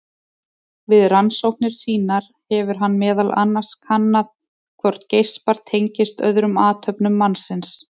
Við rannsóknir sínar hefur hann meðal annars kannað hvort geispar tengist öðrum athöfnum mannsins.